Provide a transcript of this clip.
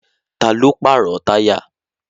Ta ló pàrọ̀ táyà?